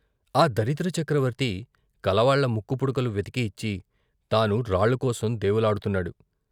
ఆ దరిద్ర చక్రవర్తి కలవాళ్ళ ముక్కుపుడకలు వెతికి ఇచ్చి తాను రాళ్ళకోసం దేవులాడుతున్నాడు.